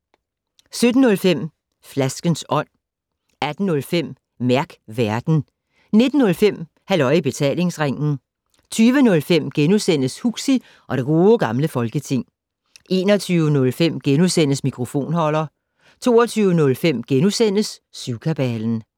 17:05: Flaskens Ånd 18:05: Mærk Værten 19:05: Halløj i Betalingsringen 20:05: Huxi og det Gode Gamle Folketing * 21:05: Mikrofonholder * 22:05: Syvkabalen *